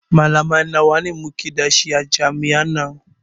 Malamai nawa muke da shi a jami'an nan